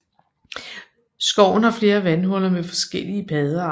Skoven har flere vandhuller med forskellige paddearter